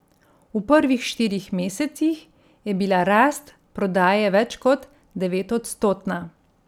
V prvih štirih mesecih je bila rast prodaje več kot devetodstotna.